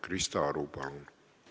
Krista Aru, palun!